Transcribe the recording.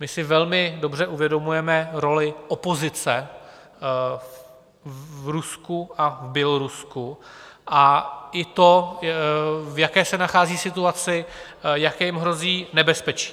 My si velmi dobře uvědomujeme roli opozice v Rusku a v Bělorusku a i to, v jaké se nachází situaci, jaké jim hrozí nebezpečí.